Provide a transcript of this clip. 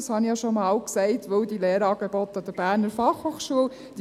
Das habe ich ja schon einmal gesagt, weil die Lehrangebote der BFH jetzt vorhanden sind.